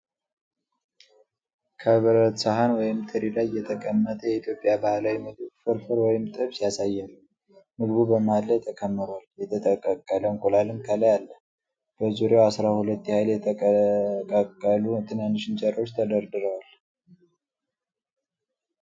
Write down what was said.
ከብረት ሰሐን ወይም ትሪ ላይ የተቀመጠ የኢትዮጵያ ባህላዊ ምግብ (ፍርፍር ወይም ጥብስ) ያሳያል። ምግቡ በመሃል ላይ ተከምሯል፤ የተቀቀለ እንቁላልም ከላይ አለ። በዙሪያው አሥራ ሁለት ያህል የተጠቀለሉ ትናንሽ እንጀራዎች ተደርድረዋል።